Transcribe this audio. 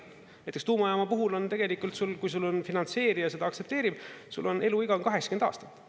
Näiteks tuumajaama puhul on tegelikult sul, kui sul finantseerija seda aktsepteerib, sul on eluiga 80 aastat.